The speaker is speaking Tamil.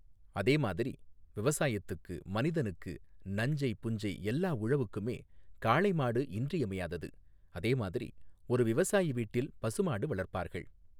அதேமாதிரி விவசாயத்துக்கு மனிதனுக்கு நஞ்சை புஞ்சை எல்லா உழவுக்குமே காளைமாடு இன்றியமையாதது அதேமாதிரி ஒரு விவசாயி வீட்டில் பசுமாடு வளர்ப்பார்கள்